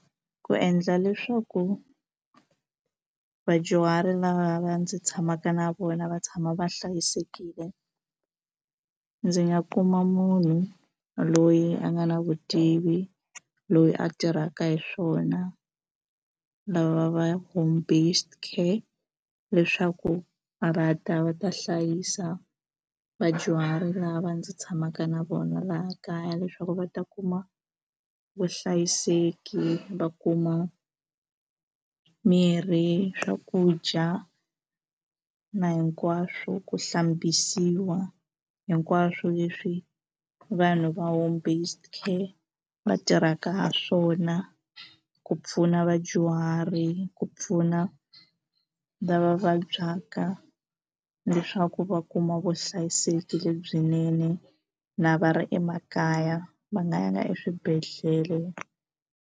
Ku endla leswaku vadyuhari lava va ndzi tshamaka na vona va tshama va hlayisekile ndzi nga kuma munhu loyi a nga na vutivi loyi a tirhaka hi swona lava va home based care leswaku a va ta va ta hlayisa vadyuhari lava ndzi tshamaka na vona laha kaya leswaku va ta kuma vuhlayiseki va kuma mirhi swakudya na hinkwaswo ku hlambisiwa hinkwaswo leswi vanhu va home based care va tirhaka ha swona ku pfuna vadyuhari ku pfuna lava vabyaka leswaku va kuma vuhlayiseki lebyinene na va ri emakaya va nga yanga eswibedhlele.